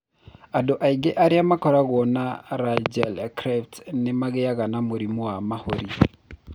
Andũ aingĩ arĩa makoragwo na laryngeal clefts nĩ magĩaga na mũrimũ wa mahũri.